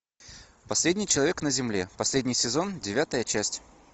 последний человек на земле последний сезон девятая часть